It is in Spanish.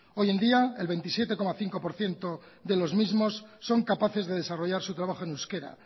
hoy en día el veintisiete coma cinco por ciento de los mismos son capaces de desarrollar su trabajo en euskera